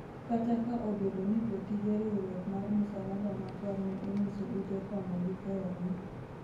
kata ka obedo ni jotije riwruok mar musalaba makwar ne onyiso ute fwambo gi keyo ni